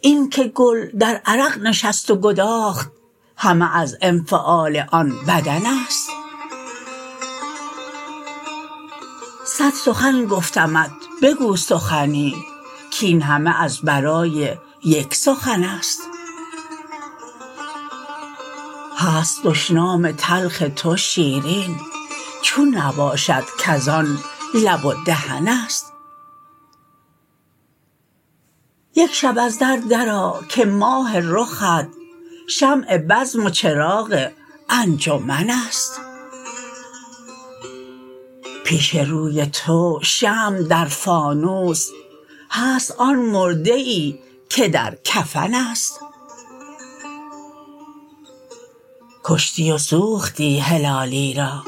این که گل در عرق نشست و گداخت همه از انفعال آن بدنست صد سخن گفتمت بگو سخنی کین همه از برای یک سخنست هست دشنام تلخ تو شیرین چون نباشد کزان لب و دهنست یک شب از در درآ که ماه رخت شمع بزم و چراغ انجمنست پیش روی تو شمع در فانوس هست آن مرده ای که در کفنست کشتی و سوختی هلالی را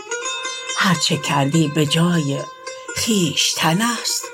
هر چه کردی بجای خویشتنست